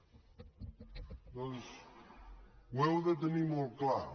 doncs ho heu de tenir molt clar